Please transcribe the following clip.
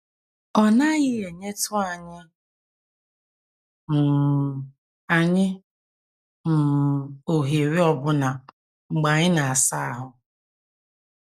Ọ naghị enyetụ anyị um anyị um ohere ọbụna mgbe anyị na - asa ahụ́. ”